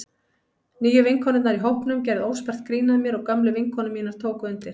Nýju vinkonurnar í hópnum gerðu óspart grín að mér og gömlu vinkonur mínar tóku undir.